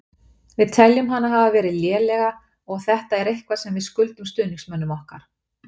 Við teljum hana hafa verið lélega og þetta er eitthvað sem við skuldum stuðningsmönnum okkar.